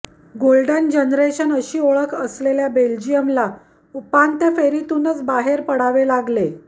golden generation अशी ओळख असलेल्या बेल्जियमला उपांत्य फेरीतूनच बाहेर पडावे लागले